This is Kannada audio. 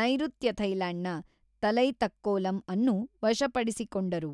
ನೈಋತ್ಯ ಥೈಲ್ಯಾಂಡ್‌ನ ತಲೈತಕ್ಕೋಲಂ ಅನ್ನು ವಶಪಡಿಸಿಕೊಂಡರು.